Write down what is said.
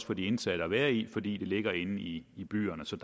for de indsatte at være i fordi de ligger inde i i byerne så